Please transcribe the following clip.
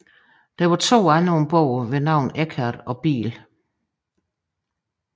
Der var to andre om bord ved navn Eckert og Biell